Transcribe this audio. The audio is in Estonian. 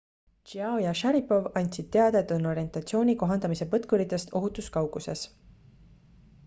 chiao ja sharipov andsid teada et on orientatsiooni kohandamise põtkuritest ohutus kauguses